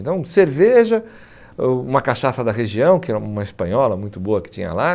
Então, cerveja, oh uma cachaça da região, que era uma espanhola muito boa que tinha lá.